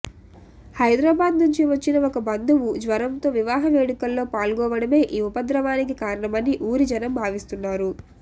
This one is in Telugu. హైదరాబాద్ నుంచి వచ్చిన ఒక బంధువు జ్వరంతో వివాహ వేడుకల్లో పాల్గోవడమే ఈ ఉపద్రవానికి కారణమని ఊరి జనం భావిస్తున్నారు